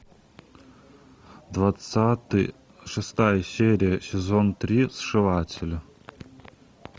двадцатый шестая серия сезон три сшиватели